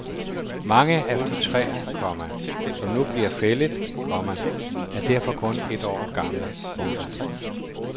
Mange af de træer, komma som nu bliver fældet, komma er derfor kun et år gamle. punktum